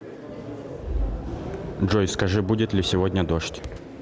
джой скажи будет ли сегодня дождь